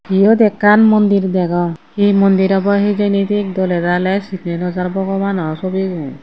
iyot ekkan mondir degong hi mondir obo hijeni siyen doley daley sini naw jar bogobano sobibo.